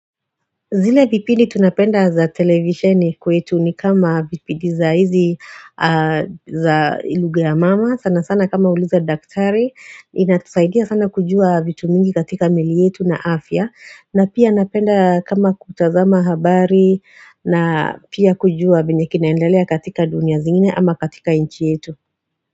Zile vipindi tunapenda za televisheni kwetu ni kama vipindi za hizi za lughha mama, sana sana kama uliza daktari, inatusaidia sana kujua vitu mingi katika miili yetu na afya, na pia napenda kama kutazama habari na pia kujua vyenye kina endelea katika dunia zingine ama katika nchi yetu.